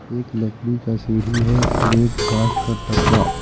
एक लकड़ी का सीढ़ी है और एक बांस का टटरा।